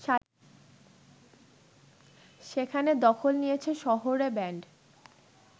সেখানে দখল নিয়েছে শহুরে ব্যান্ড